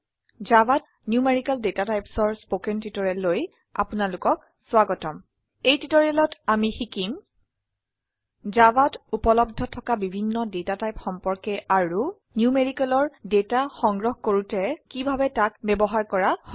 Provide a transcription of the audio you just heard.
Javaত numerical Datatypesঅৰ spoken টিউটৰিয়েললৈ আপোনাৰলোকক স্ৱাগতম এই টিউটৰিয়েলত আমি শিকিম জাভাত উপলব্ধ থকা বিভিন্ন ডেটা টাইপ সম্পৰ্কে আৰু ন্যূমেৰিকেল ডেটা সংগ্ৰহ কৰুতে কিভাবে তাক ব্যবহাৰ কৰা হয়